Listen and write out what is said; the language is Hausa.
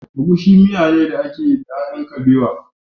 Egusi miyane da ake yi da ƴaƴan kabewa.